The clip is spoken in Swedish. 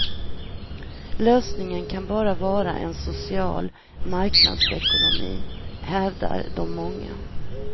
Lösningen kan bara vara en social marknadsekonomi, hävdar de många.